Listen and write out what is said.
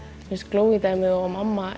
Glowie dæmið og mamma